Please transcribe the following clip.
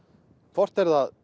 hvort er það